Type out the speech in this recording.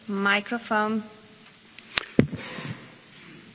Frau Präsidentin, liebe Kolleginnen und Kollegen!